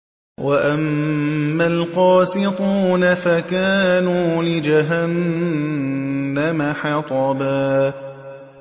وَأَمَّا الْقَاسِطُونَ فَكَانُوا لِجَهَنَّمَ حَطَبًا